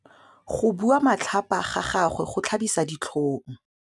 Go bua matlhapa ga gagwe go tlhabisa ditlhong.